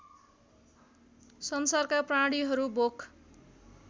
संसारका प्राणीहरू भोक